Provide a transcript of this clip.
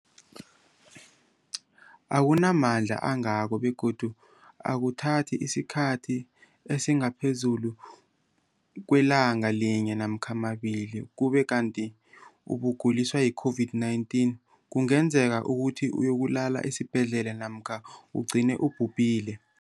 akuna mandla angako begodu akuthathi isikhathi esingaphezulu kwelanga linye namkha mabili, ukube kanti ukuguliswa yi-COVID-19 kungenza ukuthi uyokulala esibhedlela namkha ugcine ubhubhile.